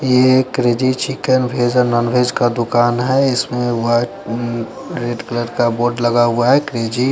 ये एक crazy chicken veg non veg का दूकान है इसमें वाइट रेड कलर का बोर्ड लगा हुआ है क्रेजी --